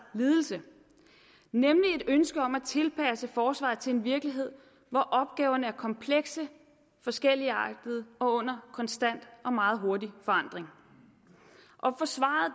ledelse nemlig et ønske om at tilpasse forsvaret til en virkelighed hvor opgaverne er komplekse forskelligartede og under konstant og meget hurtig forandring og forsvaret